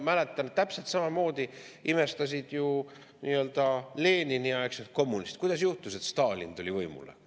Ma mäletan, täpselt samamoodi imestasid ju nii-öelda Lenini-aegsed kommunistid, kuidas juhtus, et Stalin tuli võimule.